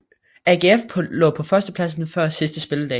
AGF lå på førstepladsen før sidste spilledag